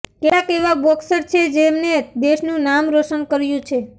કેટલાક એવા બોક્સર છે જેમને દેશનું નામ રોશન કર્યુ છે